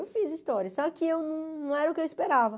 Eu fiz história, só que eu não era o que eu esperava.